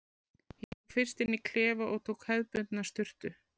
Ég fór fyrst inn í klefa og tók hefðbundna sturtu.